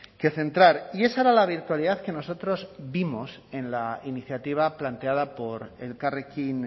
que centrar y esa era la virtualidad que nosotros vimos en la iniciativa planteada por elkarrekin